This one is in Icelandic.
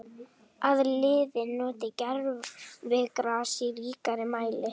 Að liðin noti gervigras í ríkari mæli?